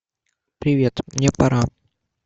привет мне пора